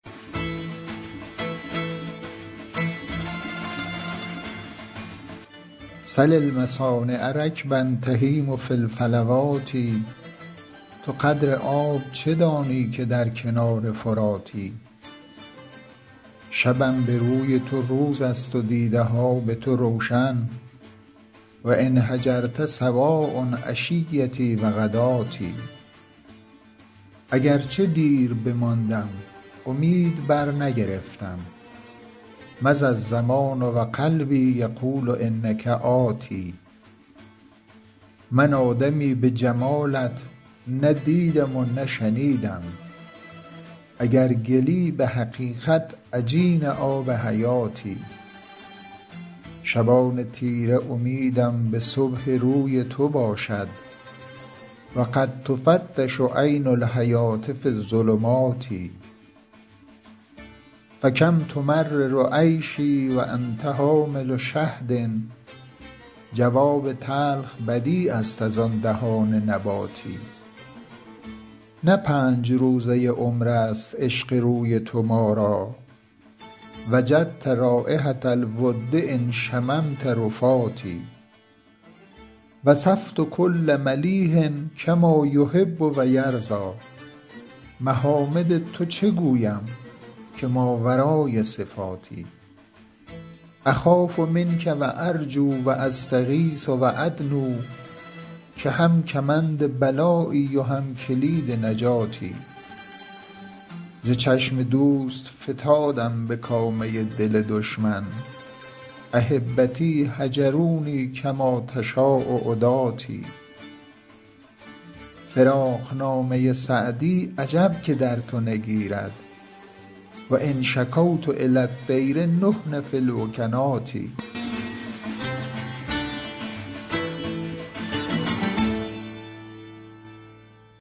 سل المصانع رکبا تهیم فی الفلوات تو قدر آب چه دانی که در کنار فراتی شبم به روی تو روز است و دیده ها به تو روشن و إن هجرت سواء عشیتي و غداتي اگر چه دیر بماندم امید برنگرفتم مضی الزمان و قلبي یقول إنک آت من آدمی به جمالت نه دیدم و نه شنیدم اگر گلی به حقیقت عجین آب حیاتی شبان تیره امیدم به صبح روی تو باشد و قد تفتش عین الحیوة في الظلمات فکم تمرر عیشي و أنت حامل شهد جواب تلخ بدیع است از آن دهان نباتی نه پنج روزه عمر است عشق روی تو ما را وجدت رایحة الود إن شممت رفاتي وصفت کل ملیح کما یحب و یرضیٰ محامد تو چه گویم که ماورای صفاتی أخاف منک و أرجو و أستغیث و أدنو که هم کمند بلایی و هم کلید نجاتی ز چشم دوست فتادم به کامه دل دشمن أحبتي هجروني کما تشاء عداتي فراقنامه سعدی عجب که در تو نگیرد و إن شکوت إلی الطیر نحن في الوکنات